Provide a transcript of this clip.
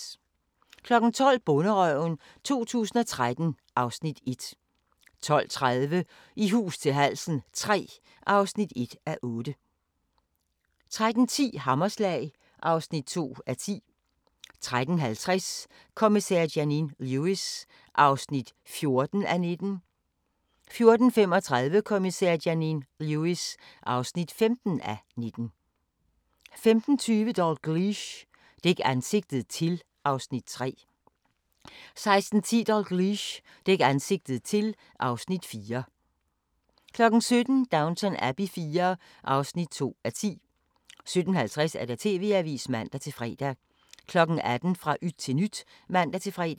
12:00: Bonderøven 2013 (Afs. 1) 12:30: I hus til halsen III (1:8) 13:10: Hammerslag (2:10) 13:50: Kommissær Janine Lewis (14:19) 14:35: Kommissær Janine Lewis (15:19) 15:20: Dalgliesh: Dæk ansigtet til (Afs. 3) 16:10: Dalgliesh: Dæk ansigtet til (Afs. 4) 17:00: Downton Abbey IV (2:10) 17:50: TV-avisen (man-fre) 18:00: Fra yt til nyt (man-fre)